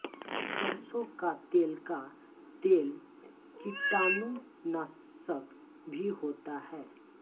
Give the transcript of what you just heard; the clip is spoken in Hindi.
सरसों का तेल का तेल कीटाणु नाशक भी होता है